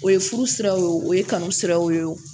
O ye furu siraw ye wo o ye kanu siraw ye